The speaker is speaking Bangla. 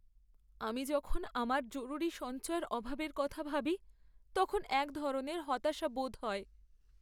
আমি যখন আমার জরুরী সঞ্চয়ের অভাবের কথা ভাবি তখন এক ধরনের হতাশা বোধ হয়।